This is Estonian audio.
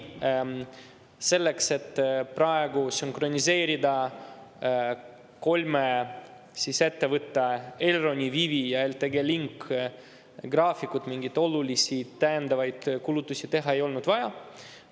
Selleks, et praegu sünkroniseerida kolme ettevõtte – Elron, Vivi ja LTG Link – graafikud, mingeid olulisi täiendavaid kulutusi teha ei olnud vaja.